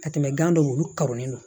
Ka tɛmɛ gan dɔw olu karonen don